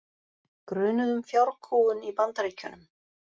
Grunuð um fjárkúgun í Bandaríkjunum